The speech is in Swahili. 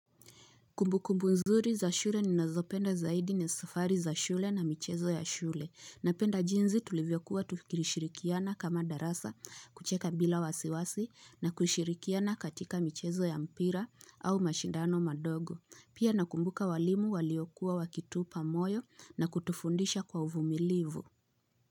Kumbu kumbu nzuri za shule ninazopenda zaidi ni safari za shule na michezo ya shule. Napenda jinzi tulivyokuwa tukirishirikiana kama darasa kucheka bila wasiwasi na kushirikiana katika michezo ya mpira au mashindano madogo. Pia nakumbuka walimu waliokuwa wakitupa moyo na kutufundisha kwa uvumilivu.